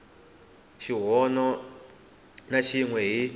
xihoxo na xin we hi